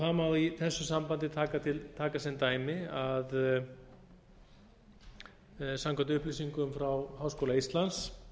það má í þessu sambandi taka sem dæmi að samkvæmt upplýsingum frá háskóla íslands